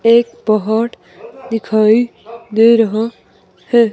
एक पहाड़ दिखाई दे रहा है।